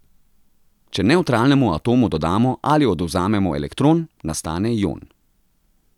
Če nevtralnemu atomu dodamo ali odvzamemo elektron, nastane ion.